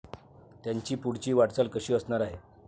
त्यांची पुढची वाटचाल कशी असणार आहे?